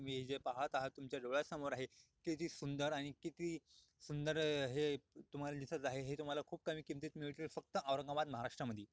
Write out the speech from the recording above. तुम्ही जे पाहता तुमच्या डोळ्यासमोर आहे किती सुंदर आणि किती सुंदर है तुम्हाला दिसत आहे है तुम्हाला खूप कमी किमतीत मिळतील फक्त औरंगाबाद महाराष्ट्र मधी-